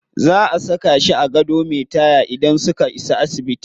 Za a saka shi a gado me taya idan suka isa asibiti.